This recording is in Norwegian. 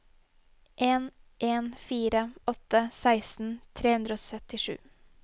en en fire åtte seksten tre hundre og syttisju